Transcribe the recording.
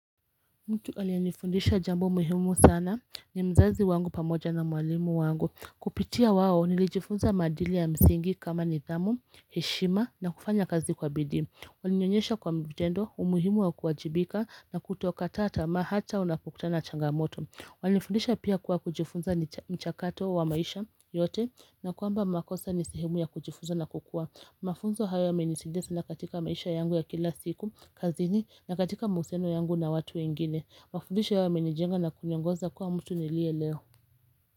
Mtu aliyenifundisha jambo muhimu sana ni mzazi wangu pamoja na mwalimu wangu. Kupitia wao nilijifunza madili ya msingi kama nidhamu, heshima na kufanya kazi kwa bidii. Walinionyesha kwa vitendo umuhimu wa kuwajibika na kutoka tata na hata unapokutana na changamoto Walinifundisha pia kuwa kujifunza ni chakato wa maisha yote na kwamba makosa ni sehemu ya kujifunza na kukua Mafunzo haya yamenisaidia sana katika maisha yangu ya kila siku, kazini na katika mahusiano yangu na watu wengine. Mafudisho haya yamenijenga na kuniongoza kuwa mtu niliye leo.